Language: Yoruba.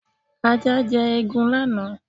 Ajá jẹ eegun lánàá.